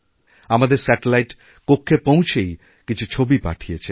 আমাদের স্যাটেলাইট কক্ষে পৌঁছেই কিছু ছবি পাঠিয়েছে